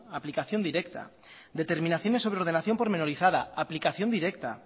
aplicación directa determinaciones sobre ordenación pormenorizada aplicación directa